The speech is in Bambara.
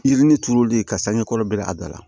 Yiri ni turulen ka sanni kɔrɔ bɛɛ a da la